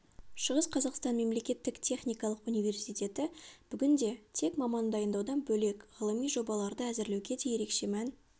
шығыс қазақстан мемлекеттік техникалық университеті бүгінде тек маман дайындаудан бөлек ғылыми жобаларды әзірлеуге де ерекше мән